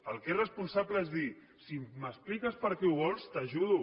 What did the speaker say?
el que és responsable és dir si m’expliques per què ho vols t’ajudo